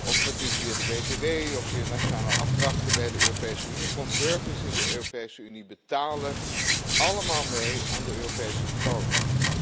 Of het nu via de btw of via nationale afdrachten bij de Europese Unie komt, burgers in de Europese Unie betalen allemaal mee aan de Europese begroting.